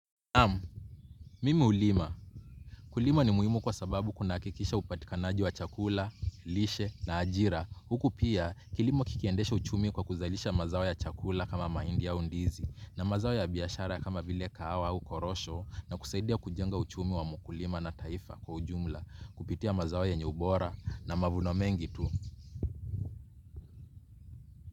Naam, mimi hulima. Kulima ni muhimu kwa sababu kunahakikisha upatikanaji wa chakula, lishe na ajira. Huku pia, kilimo kikiendesha uchumi kwa kuzalisha mazao ya chakula kama mahindi au ndizi, na mazao ya biashara kama vile kahawa au korosho, na kusaidia kujenga uchumi wa mkulima na taifa kwa ujumla. Kupitia mazao yenye bora na mavuno mengi tu.